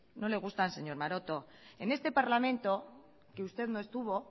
no le gustan señor maroto en este parlamento que usted no estuvo